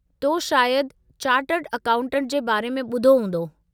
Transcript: तो शायदि chartered accountant जे बारे में ॿुधो हूंदो?